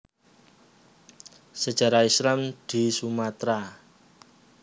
Sejarah Islam di Sumatera